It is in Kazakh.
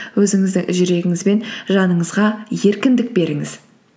өзіңіздің жүрегіңіз бен жаныңызға еркіндік беріңіз